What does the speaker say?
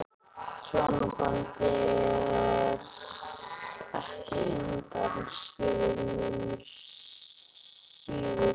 Hjónabandið er hér ekki undanskilið nema síður sé.